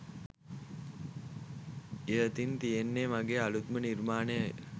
ඉහතින් තියෙන්නෙ මගේ අලුත්ම නිර්මාණය